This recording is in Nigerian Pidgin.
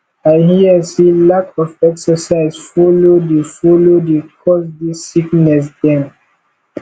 i hear sey lack of exercise folo dey folo dey cause dese sickness dem